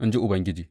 in ji Ubangiji.